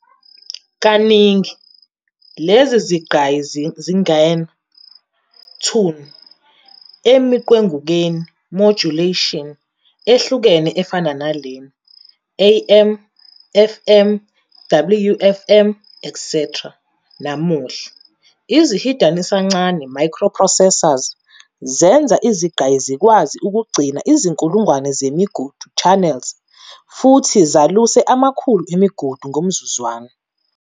Kaningi, lezi zigqayi zingena, "tune" emiqwengukweni, "modulation" ehlukene efana nalena-AM, FM, WFM, etc. Namuhla, izihidanisincane, "microprocessors" zenza izigqayi zikwazi ukugcina izinkulungwane zemigudu, "channels" futhi zaluse amakhulu emigudu ngomzuzwana.